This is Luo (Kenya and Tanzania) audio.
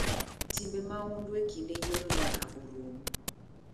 Timbe mahundu e kinde yiero nyaka orum.